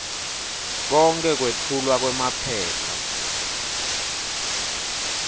konkhe kwetfulwa kwemaphepha